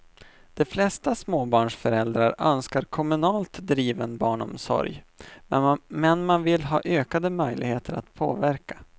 De flesta småbarnsföräldrar önskar kommunalt driven barnomsorg, men man vill ha ökade möjligheter att påverka.